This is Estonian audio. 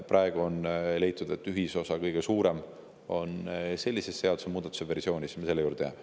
Praegu on leitud, et kõige suurem ühisosa on sellise seadusemuudatuse versiooni puhul, ja me selle juurde jääme.